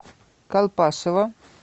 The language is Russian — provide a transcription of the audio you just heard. колпашево